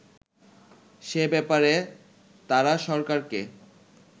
সে ব্যাপারে তারা সরকারকে